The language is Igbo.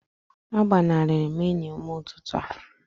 agbanari m enyi n'ụtụtụ a